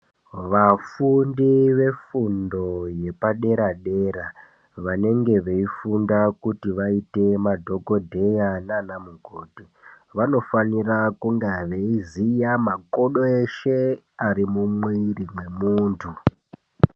Vafundi vefundo yepadera dera vanenge veifunda kuti vaite madhokodheya naana mukoti vanofanira kuziya makodo eshe ari mumwiro mwemunthu.